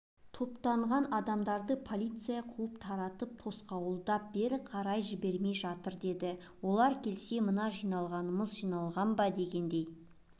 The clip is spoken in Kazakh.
топтанған адамдарды полиция қуып таратып тосқауылдап бері қарай жібермей жатыр деді олар келсе мына жиналғанымыз жиналған ба дегендей